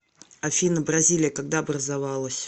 афина бразилия когда образовалась